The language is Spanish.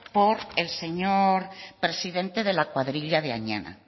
por el señor presidente de la cuadrilla de añana